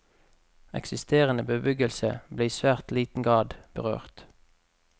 Eksisterende bebyggelse ble i svært liten grad berørt.